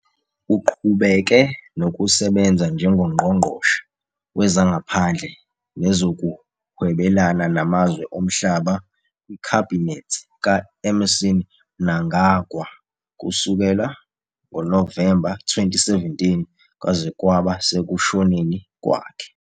Uqhubeke nokusebenza njengoNgqongqoshe Wezangaphandle Nezokuhwebelana Namazwe Omhlaba kwikhabhinethi ka- Emmerson Mnangagwa kusukela ngoNovemba 2017 kwaze kwaba sekushoneni kwakhe.